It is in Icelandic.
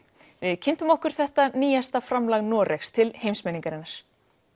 við kynntum okkur þetta nýjasta framlag Noregs til heimsmenningarinnar